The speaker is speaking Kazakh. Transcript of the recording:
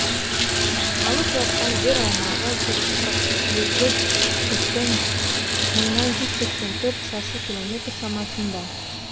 алып жатқан жер аумағы жүз қырық сегіз бүтін мыңнан жүз сексен төрт шаршы километр шамасында